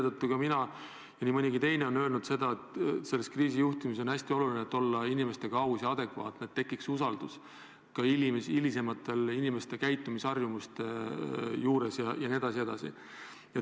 Ma arvan ja nii mõnigi teine on öelnud, et kriisi juhtides on hästi oluline olla inimestega aus, et tekiks usaldus, mida on vaja ka inimeste käitumisharjumusi kujundades.